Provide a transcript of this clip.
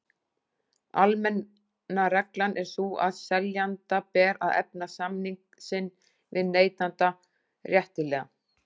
Almenna reglan er sú að seljanda ber að efna samning sinn við neytanda réttilega.